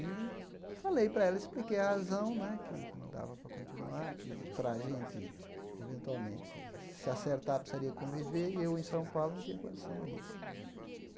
E falei para ela, expliquei a razão né que não dava para continuar, que para a gente, eventualmente, se acertar, precisaria conviver, e eu, em São Paulo, não tinha condição disso.